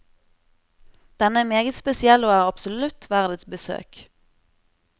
Denne er meget spesiell og er absolutt verd et besøk.